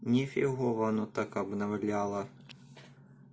не фигово оно так обновляло